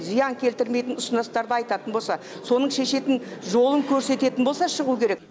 зиян келтірмейтін ұсыныстарды айтатын болса соның шешетін жолын көрсететін болса шығу керек